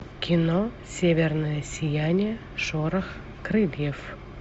кино северное сияние шорох крыльев